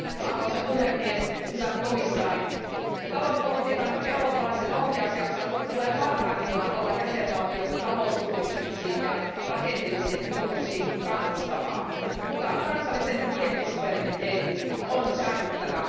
Arvoisa puhemies, hyvät komission jäsenet, talouspolitiikan eurooppalaisen ohjausjakson tulee parhaimmillaan olla jäsenvaltioita talousuudistuksiin ja rakenteellisiin muutoksiin kannustavaa, mutta kansallisen budjettisuvereniteetin on säilyttävä.